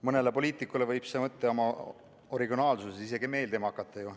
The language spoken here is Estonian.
Mõnele poliitikule võib see mõte oma originaalsuses isegi meeldima hakata.